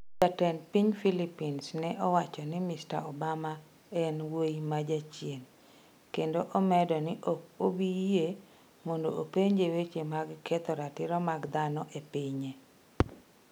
Jatend piny Philippines ne osewacho ni Mr Obama en "wuoyi ma jachien" kendo omedo ni ok obi yie mondo openje weche mag ketho ratiro mag dhano e pinye.